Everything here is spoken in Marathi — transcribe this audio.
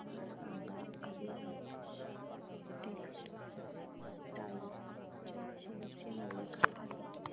मला सांगा आदिनाथ टेक्स्टटाइल च्या शेअर चे मूल्य काय आहे